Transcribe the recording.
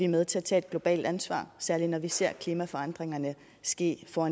med til at tage et globalt ansvar særlig når vi ser klimaforandringerne ske for